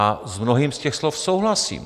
A s mnohými z těch slov souhlasím.